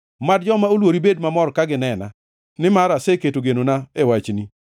Mad joma oluori bed mamor ka ginena, nimar aseketo genona e wachni.